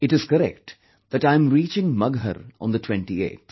It is correct that I am reaching Maghar on the 28th